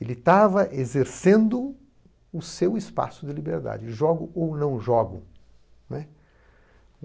Ele estava exercendo o seu espaço de liberdade, jogo ou não jogo, né?